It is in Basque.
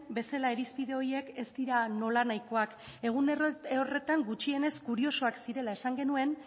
bezala irizpide horiek ez dira nolanahikoak egun horretan gutxienez kuriosoak zirela esan genuen